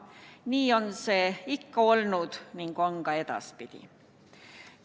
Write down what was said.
Nii on see ikka olnud ning on ka edaspidi.